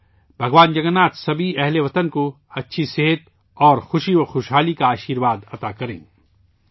میں دعا کرتا ہوں کہ بھگوان جگن ناتھ تمام ہم وطنوں کو اچھی صحت اور خوشحالی کا آشرواد عطا فرمائے